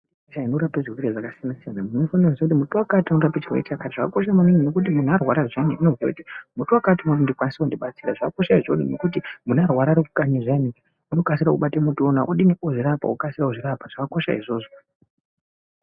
Inorape zvirwere zvakasiyana siyana muntu unofane kuziya kuti muti wakati unorape chirwere chakati zvakakosha maningi nekuti munhu arwara zviyani unoiziya kuti muti wakati unondikwanisa kundibatsira zvakakosha izvoni nekuti munhu ararwa arikukanyi zviyani inokasire kubata muti uwona odini okasira kuzvirapa zvakakosha izvzvozvo.